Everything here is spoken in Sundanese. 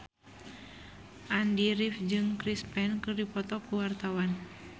Andy rif jeung Chris Pane keur dipoto ku wartawan